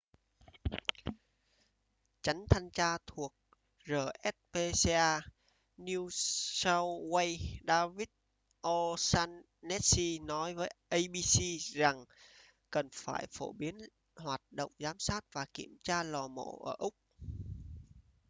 chánh thanh tra thuộc rspca new south wales david o'shannessy nói với abc rằng cần phải phổ biến hoạt động giám sát và kiểm tra lò mổ ở úc